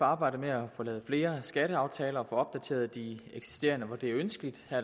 arbejdet med at få lavet flere skatteaftaler og opdateret de eksisterende hvor det er ønskeligt her